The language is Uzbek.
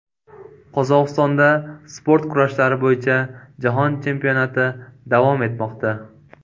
Qozog‘istonda sport kurashlari bo‘yicha Jahon chempionati davom etmoqda.